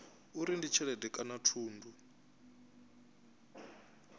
uri ndi tshelede kana thundu